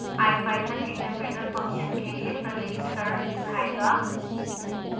ipython interpreter function के लिए प्रलेखीकरण दिखाएगा